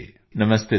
hello sir